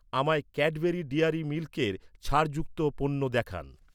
আমায় Cadbury dairy মিল্কের ছাড় যুক্ত পণ্য দেখান।